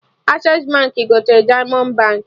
Accessi Baankị gotere Diamond Baankị